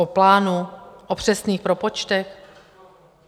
O plánu, o přesných propočtech?